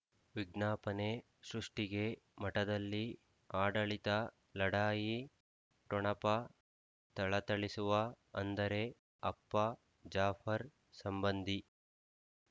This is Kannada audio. ವಿಜ್ಞಾಪನೆ ಸೃಷ್ಟಿಗೆ ಮಠದಲ್ಲಿ ಆಡಳಿತ ಲಢಾಯಿ ಠೊಣಪ ಥಳಥಳಿಸುವ ಅಂದರೆ ಅಪ್ಪ ಜಾಫರ್ ಸಂಬಂಧಿ